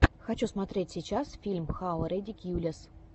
хочу смотреть сейчас фильм хау редикьюлэс